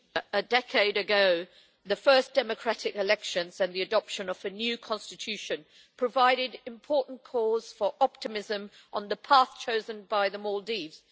Madam President, a decade ago the first democratic elections and the adoption of a new constitution provided important cause for optimism on the path chosen by the Maldives.